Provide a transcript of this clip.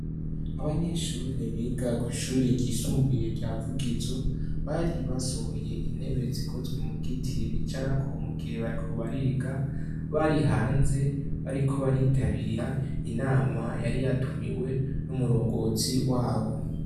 abanyeshuri biga kw'ishuri ryisumbuye rya vugizo bari basohoye intebe zikozwe mu giti bicarako mugihe bariko bariga bari hanze bariko baritabira inama yari yatumiwe n'umurongozi wabo